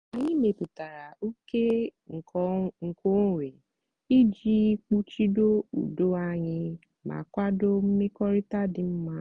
anyị mepụtara oke nkeonwe iji kpuchido udo anyị ma kwado mmekọrịta dị mma.